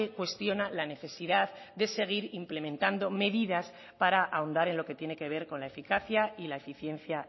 cuestiona la necesidad de seguir implementando medidas para ahondar en lo que tiene que ver con la eficacia y la eficiencia